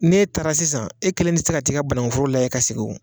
N'e taara sisan e kelen tɛ se ka ti ka bananku foro layɛ ka segin o.